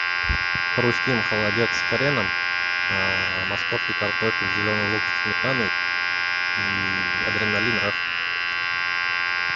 хрустим холодец с хреном московский картофель зеленый лук со сметаной и адреналин раш